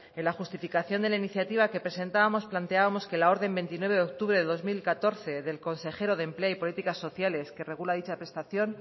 en la justificación de la iniciativa que presentábamos planteábamos que la orden veintinueve de octubre de dos mil catorce del consejero de empleo y políticas sociales que regula dicha prestación